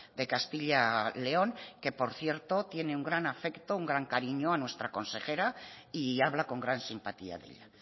de castilla león que por cierto tiene un gran afecto un gran cariño a nuestra consejera y habla con gran simpatía de ella